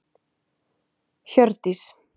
Hjördís